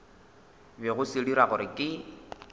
bego se dira gore ke